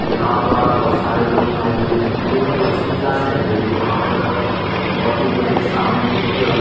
यहां पर बहुत सारे लोग आये हुए है ये कोचिंग क्लास लग रही है यहां पर बहुत बड़ी सामने एक --